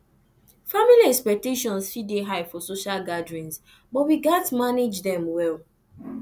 family expectations fit dey high for social gatherings but we gats manage dem well